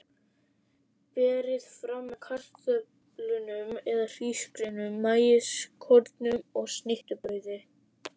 Berið fram með kartöflum eða hrísgrjónum, maískornum og snittubrauði.